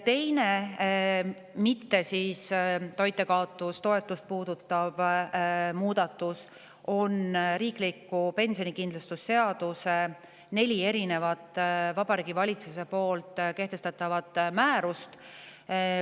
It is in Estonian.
Teine muudatus, mis ei puuduta toitjakaotustoetust, on neli Vabariigi Valitsuse kehtestatavat määrust, mis puudutavad riikliku pensionikindlustuse seadust.